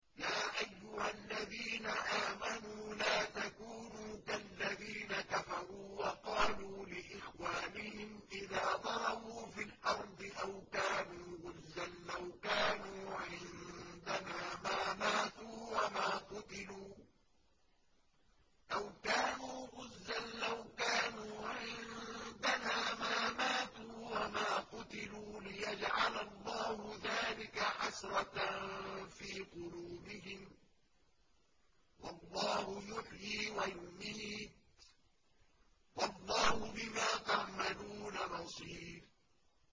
يَا أَيُّهَا الَّذِينَ آمَنُوا لَا تَكُونُوا كَالَّذِينَ كَفَرُوا وَقَالُوا لِإِخْوَانِهِمْ إِذَا ضَرَبُوا فِي الْأَرْضِ أَوْ كَانُوا غُزًّى لَّوْ كَانُوا عِندَنَا مَا مَاتُوا وَمَا قُتِلُوا لِيَجْعَلَ اللَّهُ ذَٰلِكَ حَسْرَةً فِي قُلُوبِهِمْ ۗ وَاللَّهُ يُحْيِي وَيُمِيتُ ۗ وَاللَّهُ بِمَا تَعْمَلُونَ بَصِيرٌ